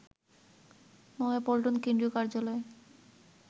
নয়াপল্টন কেন্দ্রীয় কার্যালয়ে